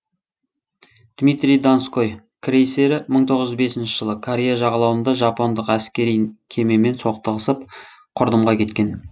дмитрий донской крейсері мың тоғыз жүз бесінші жылы корея жағалауында жапондық әскери кемемен соқтығысып құрдымға кеткен